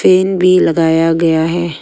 Fan भी लगाया गया है।